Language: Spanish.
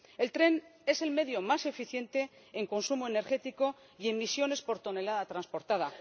El tren es el medio más eficiente en consumo energético y emisiones por tonelada transportada.